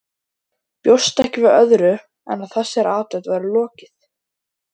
Bjóst ekki við öðru en að þessari athöfn væri lokið.